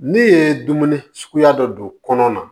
Ne ye dumuni suguya dɔ don kɔnɔ na